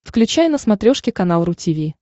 включай на смотрешке канал ру ти ви